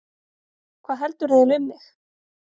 Hvað heldurðu eiginlega um mig!